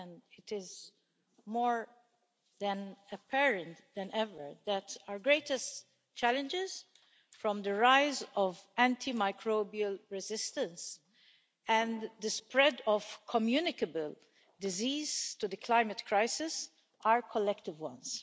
it is more apparent than ever that our greatest challenges, from the rise of antimicrobial resistance and the spread of communicable disease to the climate crisis, are collective ones.